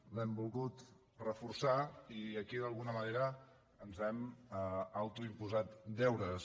l’hem volgut reforçar i aquí d’alguna manera ens hem autoimposat deures